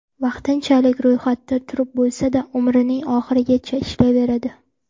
Vaqtinchalik ro‘yxatda turib bo‘lsa-da, umrining oxirigacha ishlayveradi.